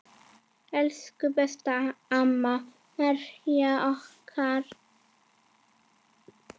Elsku besta amma Mæja okkar.